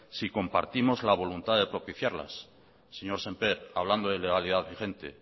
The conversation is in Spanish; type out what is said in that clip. si compartimos la voluntad de propiciarlas señor sémper hablando de legalidad vigente